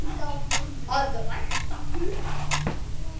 Enda hafi veðrið verið gott.